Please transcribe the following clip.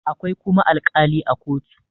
akwai kuma alƙali a kotu